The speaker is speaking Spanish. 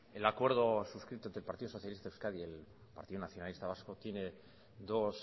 el acuerdo suscrito entre el partido socialista de euskadi y el partido nacionalista vasco tiene dos